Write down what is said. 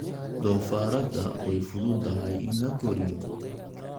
Doofaarrada way fududahay in la koriyo.